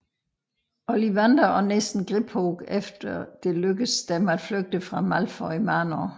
Ollivander og nissen Griphook efter det lykkes dem at flygte fra Malfoy Manor